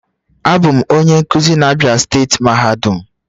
Abum onye nkuzi na Abia steeti mahadum